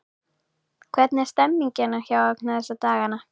Hvernig er stemningin hjá Magna þessa dagana?